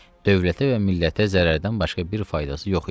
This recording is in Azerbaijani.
dövlətə və millətə zərrdən başqa bir faydası yox idi.